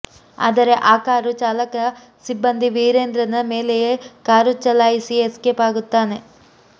ಆದರೆ ಆ ಕಾರು ಚಾಲಕ ಸಿಬ್ಬಂದಿ ವೀರೇಂದ್ರನ ಮೇಲೆಯೇ ಕಾರು ಚಾಲಾಯಿಸಿ ಎಸ್ಕೇಪ್ ಆಗುತ್ತಾನೆ